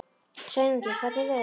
Sveinungi, hvernig er veðurspáin?